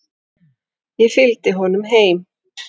Ég fylgdi honum heim.